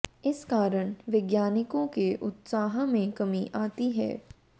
इस कारण वैज्ञानिकों के उत्साह में कमी आती है